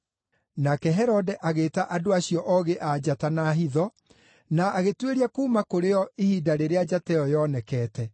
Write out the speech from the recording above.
Nake Herode agĩĩta andũ acio Oogĩ-a-Njata na hitho, na agĩtuĩria kuuma kũrĩ o ihinda rĩrĩa njata ĩyo yoonekete.